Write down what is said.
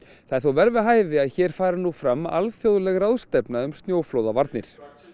það er þó vel við hæfi að hér fari nú fram alþjóðleg ráðstefna um snjóflóðavarnir